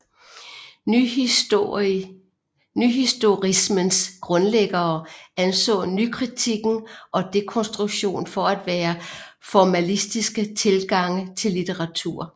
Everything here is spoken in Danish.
Nyhistorismens grundlæggere anså nykritikken og dekonstruktion for at være formalistiske tilgange til litteratur